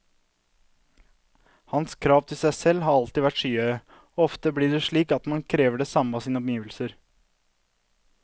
Hans krav til seg selv har alltid vært skyhøye, og ofte blir det slik at man krever det samme av sine omgivelser.